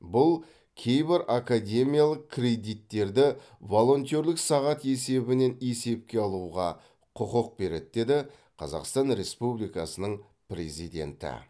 бұл кейбір академиялық кредиттерді волонтерлік сағат есебінен есепке алуға құқық береді деді қазақстан ресупбликасының президенті